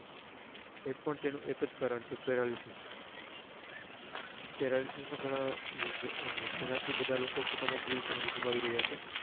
એ પણ તેનું એક જ કારણ છે paralysis paralysis ના ગણા જેનાથી બધા લોકો પોતાની જીવ ગુમાવી રહ્યા